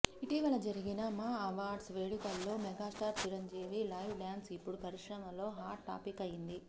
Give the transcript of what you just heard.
ఇటీవల జరిగిన మా అవార్డ్స్ వేడుకల్లో మెగస్టార్ చిరంజీవి లైవ్ డాన్స్ ఇప్పుడు పరిశ్రమలో హాట్ టాపిక్ అయింది